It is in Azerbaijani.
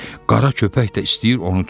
Qara köpək də istəyir onu tutsun.